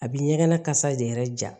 A bi ɲɛgɛn na kasa de yɛrɛ ja